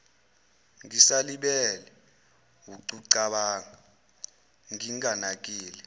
ngisalibele wukucabanga nginganakile